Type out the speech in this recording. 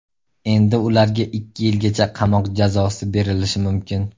Endi ularga ikki yilgacha qamoq jazosi berilishi mumkin.